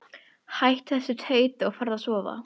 Hættu þessu tauti og farðu að sofa.